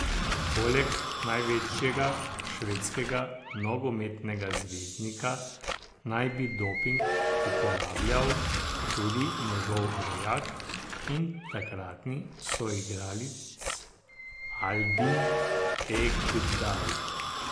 Poleg največjega švedskega nogometnega zvezdnika naj bi doping uporabljal tudi njegov rojak in takratni soigralec Albin Ekdal.